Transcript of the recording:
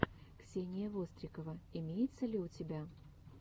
ксения вострикова имеется ли у тебя